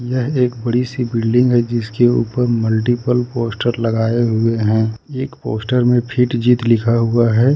यह एक बड़ी सी बिल्डिंग है जिसके ऊपर मल्टीप्ल पोस्टर लगाए हुए हैं एक पोस्टर में फिटजी लिखा हुआ है।